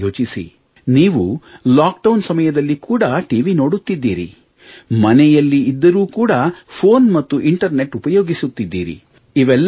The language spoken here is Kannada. ಸ್ವಲ್ಪ ಯೋಚಿಸಿ ನೀವು ಲಾಕ್ಡೌನ್ ನಮಯದಲ್ಲಿ ಕೂಡ ಟಿವಿ ನೋಡುತ್ತಿದ್ದೀರಿ ಮನೆಯಲ್ಲಿ ಇದ್ದರೂ ಕೂಡ ಫೆÇೀನ್ ಮತ್ತು ಇಂಟರ್ನೆಟ್ ಉಪಯೋಗಿಸುತ್ತಿದ್ದೀರಿ